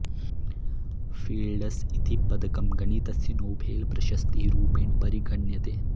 fields इति पदकं गणितस्य नोबेल् प्रशस्तिः रूपेण परिगण्यते